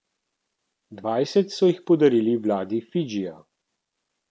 Dvajset so jih podarili vladi Fidžija.